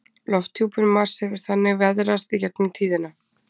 Lofthjúpur Mars hefur þannig veðrast í gegnum tíðina.